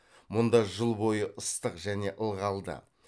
мұнда жыл бойы ыстық және ылғалды